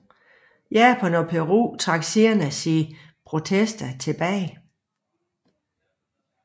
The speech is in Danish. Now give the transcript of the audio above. Japan og Peru trak senere sine protester tilbage